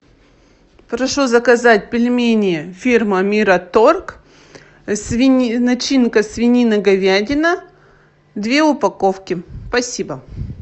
прошу заказать пельмени фирма мираторг начинка свинина говядина две упаковки спасибо